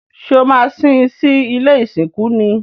Ṣé o maa sín sí ilé ìsìnkú ni?